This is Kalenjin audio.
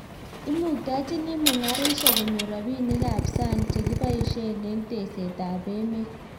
Imuktachini mungaresiek konyor robinik ab sang che kiboishee eng tesetaitap emet